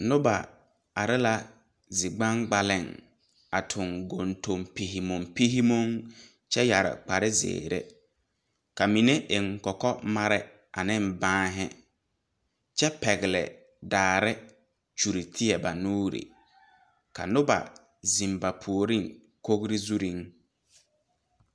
Noba are la zi gbaŋgbaleŋ a tuŋ kuntuŋ pihimompihimom kyɛ yɛre kpare zeere ka mine eŋ kɔkɔmare aneŋ banhi kyɛ pɛgle daare kyure teɛ ba nuure ka noba zeŋ ba puoriŋ kogre zurreŋ.